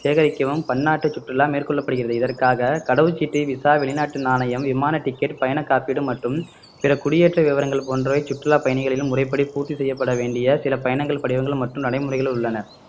சேகரிக்கவும் பன்னாட்டு சுற்றுலா மேற்கொள்ளப்படுகிறது இதற்காக கடவுச்சீட்டு விசா வெளிநாட்டு நாணயம் விமான ticket பயண காப்பீடு மற்றும் பிற குடியேற்ற விவரங்கள் போன்றவை சுற்றுலா பயணிகளால் முறைப்படி பூர்த்தி செய்யப்பட வேண்டிய சில பயணங்கள் படிவங்கள் மற்றும் நடைமுறைகள் உள்ளன